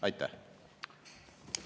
Aitäh!